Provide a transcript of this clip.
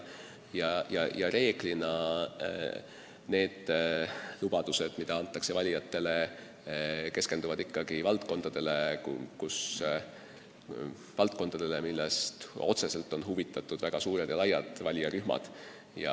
Reeglina keskenduvad valijatele antavad lubadused valdkondadele, millest otseselt on huvitatud väga suured valijarühmad.